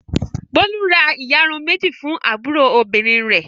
Bólú ra ìyarun méjì fún àbúrò obìnrin rẹ̀.